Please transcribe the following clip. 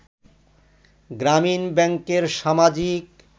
গ্রামীন ব্যাংকের সামাজিক